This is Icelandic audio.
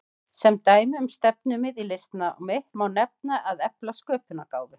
Sem dæmi um stefnumið í listnámi má nefna að efla sköpunargáfu.